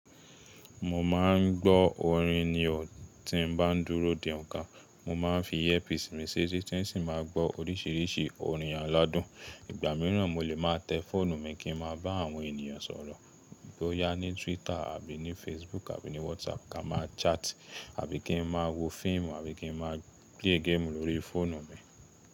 Mo máa ń gbọ́ orin ní ọ̀ tí n bá ń dúró de onka, mo máa ń fi headphones mi ṣeti tí n sì máa ń gbọ́ oríṣìíríṣìí orin aládùn. Ìgbà mìíràn mo lè máa tẹ fọ́ọ̀nù mi kín máa bá àwọn ènìyàn sọ̀rọ̀ bóyá ní Twitter àbí ní Facebook àbí ní WhatsApp ka máa chat àbí kín máa wo fíìmù àbí kín máa play game lóri fọ́nù mi.